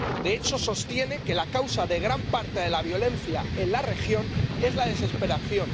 De hecho, sostiene que la causa de gran parte de la violencia en la región es la desesperación.